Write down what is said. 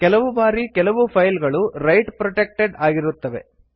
ಕೆಲವು ಬಾರಿ ಕೆಲವು ಫೈಲ್ ಗಳು ರೈಟ್ ಪ್ರೊಟೆಕ್ಟೆಡ್ ಆಗಿರುತ್ತವೆ